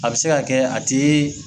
A bɛ se ka kɛ a tɛ